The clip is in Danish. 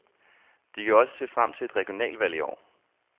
De kan også se frem til et regionalvalg i år.